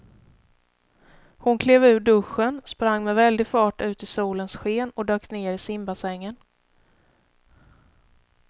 Hon klev ur duschen, sprang med väldig fart ut i solens sken och dök ner i simbassängen.